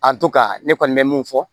A don ka ne kɔni bɛ mun fɔ